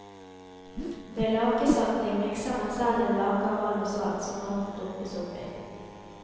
Ved lakesalting mikser man selv en lake av vann og salt som maten dumpes oppi.